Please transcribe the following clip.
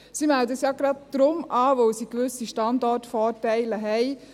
– Sie melden es ja genau deshalb an, weil sie gewisse Standortvorteile haben.